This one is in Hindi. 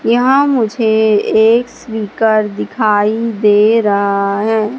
यहां मुझे एक स्नीकर दिखाई दे रहा है।